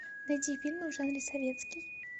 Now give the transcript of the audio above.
найди фильмы в жанре советский